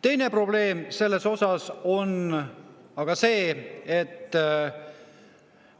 Teine probleem on siin aga see, et